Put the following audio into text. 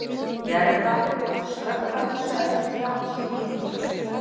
Gerða, slökktu á þessu eftir þrjátíu mínútur.